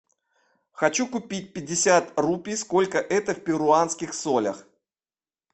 хочу купить пятьдесят рупий сколько это в перуанских солях